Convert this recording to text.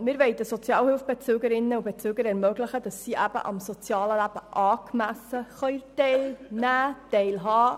Als EVP-Fraktion wollen wir den Sozialhilfebeziehenden ermöglichen, angemessen am sozialen Leben teilzunehmen und teilzuhaben.